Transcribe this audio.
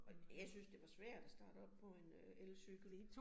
Og jeg synes, det var svært at starte op på en øh elcykel